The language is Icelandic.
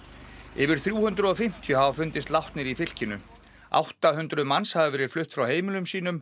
yfir þrjú hundruð og fimmtíu hafa fundist látnir í fylkinu átta hundruð þúsund manns hafa verið flutt frá heimilum sínum